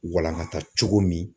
Walangata cogo min